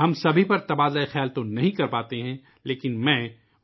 ہم سبھی پر تو تبادلۂ خیال نہیں کر سکتے لیکن